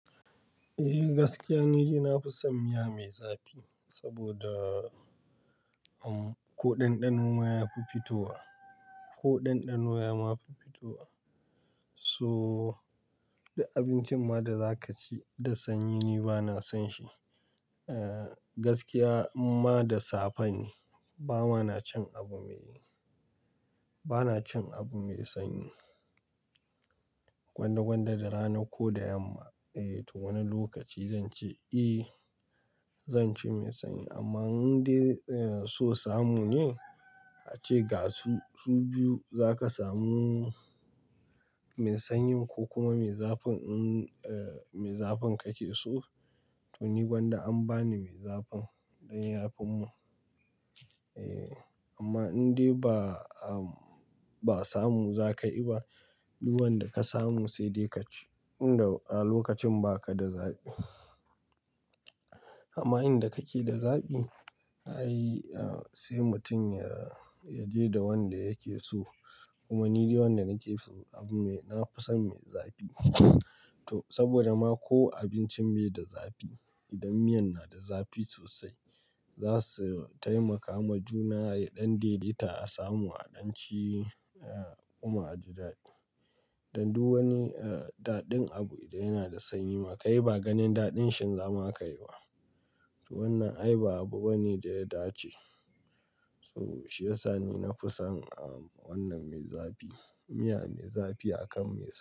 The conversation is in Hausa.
Eh gaskiya, ni na fi son miya mai zafi saboda ko ɗanɗano ma yafi fitowa, ko ɗanɗano ma yafi fitowa. So da abincin ma da za ka ci da sanyi ni bana son shi. Eh gaskiya, ma da safa ne, ba ma na cin abu me, bana cin abu mai sanyi. Gwanda gwanda da rana ko da yamma, eh to wani lokaci zan ce eh zan ci mai sanyi. Amma in dai so samu ne a ce ga su, su biyu za ka samu mai sanyi ko kuma mai zafin, in eh mai zafin kake so to ni gwanda an bani mai zafin ɗan yafin mu. Eh amma in dai ba, ba samu za ka yi ba, duwanda ka samu sai dai ka ci. In da a lokacin ba ka da zafi. Amma in da kake da zafi, ai sai mutum ya, ya je da wanda yake so. Kuma ni dai wanda nake so abu me, na fi son mai zafi. To saboda ma ko abincin bai da zafi idan miyan na da zafi sosai, za su taimaka ma juna ɗan deeta a samu aɗanci kuma a ji daɗi. Dan duk wani ɗaɗin abu idan yana da sanyi ma ka yi ba ganin daɗin shi ma zaka yi wa. To wannan ai ba abu bane da ya dace. So shi yasa ni na fi son wannan mai zafi, miya mai zafi akan mai sanyi.